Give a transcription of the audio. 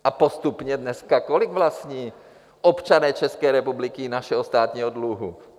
A postupně dneska, kolik vlastní občané České republiky našeho státního dluhu?